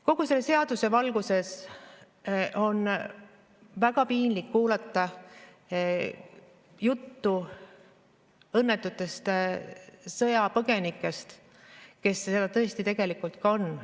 Kogu selle seadus valguses on väga piinlik kuulata juttu õnnetutest sõjapõgenikest, kes seda tõesti tegelikult ka on.